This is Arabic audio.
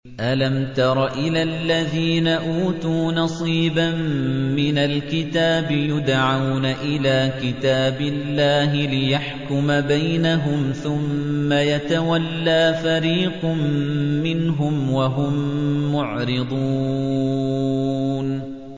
أَلَمْ تَرَ إِلَى الَّذِينَ أُوتُوا نَصِيبًا مِّنَ الْكِتَابِ يُدْعَوْنَ إِلَىٰ كِتَابِ اللَّهِ لِيَحْكُمَ بَيْنَهُمْ ثُمَّ يَتَوَلَّىٰ فَرِيقٌ مِّنْهُمْ وَهُم مُّعْرِضُونَ